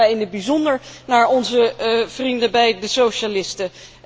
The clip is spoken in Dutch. En ik kijk daarbij in het bijzonder naar onze vrienden bij de socialisten.